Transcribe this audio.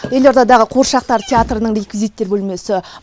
елордадағы қуыршақтар театрының реквизиттер бөлмесі